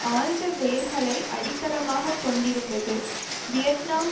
ஆழ்ந்த வேர்களை அடித்தளமாக கொண்டிருந்தது வியட்நாம்